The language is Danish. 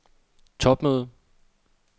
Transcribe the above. topmøde